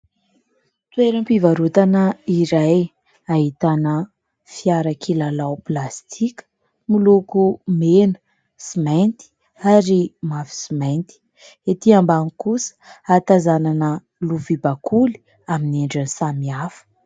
Toeram-pivarotana iray ahitana fiara kilalao plastika, miloko mena sy mainty ary mavo sy mainty .Etỳ ambany kosa hatazanana lovia bakoly amin'ny endriny samy hafa.